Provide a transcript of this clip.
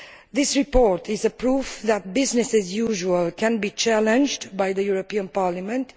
This report is proof that business as usual can be challenged by the European Parliament.